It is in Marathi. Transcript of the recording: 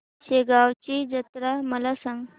शेगांवची जत्रा मला सांग